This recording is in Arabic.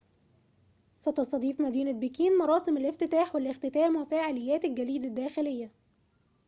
ستستضيف مدينة بكين مراسم الافتتاح والاختتام وفعاليات الجليد الداخلية